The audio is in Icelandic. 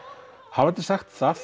hafandi sagt það